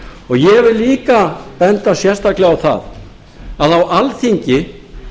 ég vil líka benda sérstaklega á það að á alþingi